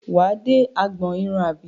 Wà á dé agbọn irun àbí?